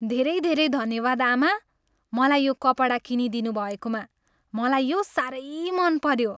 धेरै धेरै धन्यवाद, आमा! मलाई यो कपडा किनिदिनु भएकोमा, मलाई यो साह्रै मनपऱ्यो।